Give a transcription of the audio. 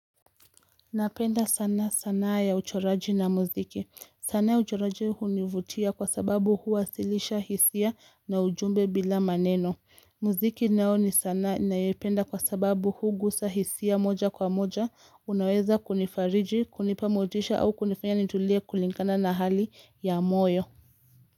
Napenda sana sanna ya uchoraji na muziki. Sana ya uchoraji univutia kwa sababu huwasilisha hisia na ujumbe bila maneno. Muziki nao ni sanaa ninayependa kwa sababu hugusa hisia moja kwa moja. Unaweza kunifariji, kunipa motisha au kunifanya nitulie kulingana na hali ya moyo.